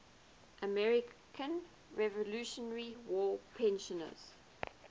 american revolutionary war prisoners